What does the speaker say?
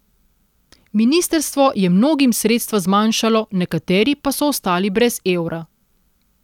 Ministrstvo je mnogim sredstva zmanjšalo, nekateri pa so ostali brez evra.